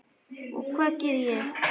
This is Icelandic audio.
Og hvað gerði ég?